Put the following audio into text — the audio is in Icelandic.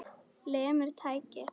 Lemur tækið.